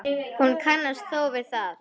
Hún kannast þó við það.